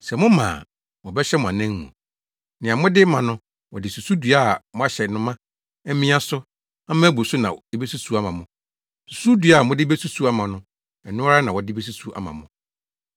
Sɛ moma a, wɔbɛhyɛ mo anan mu. Nea mode ma no, wɔde susudua a wɔahyɛ no ma, amia so ama abu so na ebesusuw ama mo. Susudua a mode besusuw ama no, ɛno ara na wɔde besusuw ama mo.”